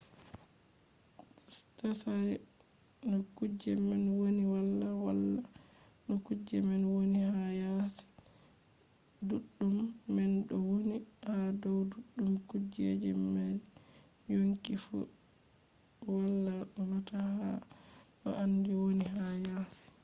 tsari no kuje man woni wala holla no kujeji man woni ha yasi ɗuɗɗum man ɗo windi ha dow ɗuɗɗum kujeji mari yonki fu wala nota no handi woni ha yasi